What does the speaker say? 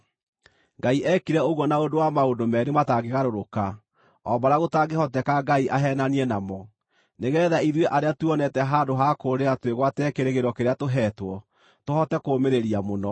Ngai eekire ũguo na ũndũ wa maũndũ meerĩ matangĩgarũrĩka, o marĩa gũtangĩhoteka Ngai aheenanie namo, nĩgeetha ithuĩ arĩa tuonete handũ ha kũũrĩra twĩgwatĩre kĩĩrĩgĩrĩro kĩrĩa tũheetwo, tũhote kũũmĩrĩria mũno.